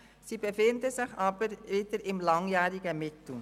Sie befinden sich im langjährigen Mittel.